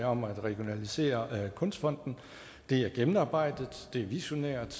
om at regionalisere kunstfonden det er gennemarbejdet det er visionært